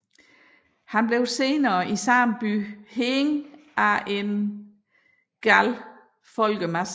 Han blev senere i samme by hængt af en vred folkemasse